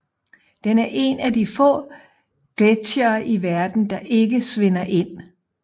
Den er en af de få gletsjere i verden der ikke svinder ind